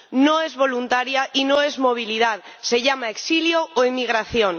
No es voluntaria y no es movilidad, se llama exilio o emigración.